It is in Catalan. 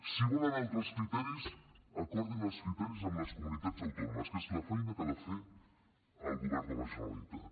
si volen altres criteris acordin els criteris amb les comunitats autònomes que és la feina que ha de fer el govern de la generalitat